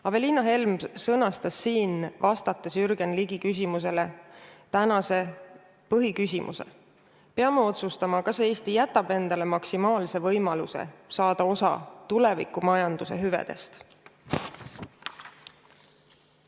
Aveliina Helm sõnastas Jürgen Ligi küsimusele vastates tänase põhiküsimuse: me peame otsustama, kas Eesti jätab endale maksimaalse võimaluse saada osa tulevikumajanduse hüvedest.